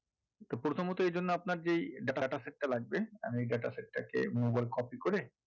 প্রথমত এই জন্য আপনার যেই data set টা লাগবে আমি data set টাকে move all copy করে